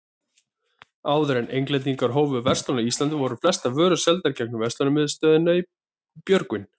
Áður en Englendingar hófu verslun á Íslandi, voru flestar vörur seldar gegnum verslunarmiðstöðina í Björgvin.